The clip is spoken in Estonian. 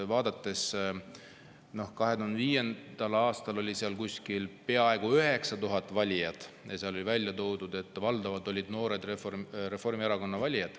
2005. aastal oli peaaegu 9000 e-valijat ja oli välja toodud, et valdavad olid need noored Reformierakonna valijad.